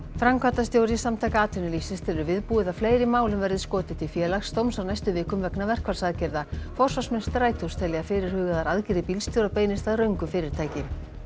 framkvæmdastjóri Samtaka atvinnulífsins telur viðbúið að fleiri málum verði skotið til Félagsdóms á næstu vikum vegna verkfallsaðgerða forsvarsmenn Strætós telja að fyrirhugaðar aðgerðir bílstjóra beinist að röngu fyrirtæki